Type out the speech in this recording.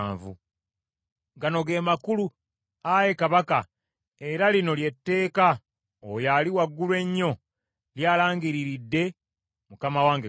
“Gano ge makulu, ayi kabaka, era lino lye tteeka Oyo Ali Waggulu Ennyo ly’alangiriridde mukama wange kabaka.